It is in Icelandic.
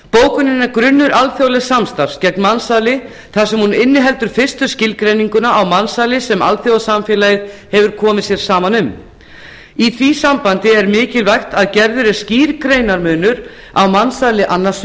er grunnur alþjóðlegs samstarfs gegn mansali þar sem hún inniheldur fyrstu skilgreininguna á mansali sem alþjóðasamfélagið hefur komið sér saman um í því sambandi er mikilvægt að gerður sé skýr greinarmunur á mansali annars